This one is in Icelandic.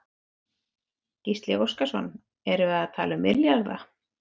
Gísli Óskarsson: Erum við að tala um milljarða?